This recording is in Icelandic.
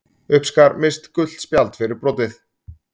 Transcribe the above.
Uppskar Mist gult spjald fyrir brotið.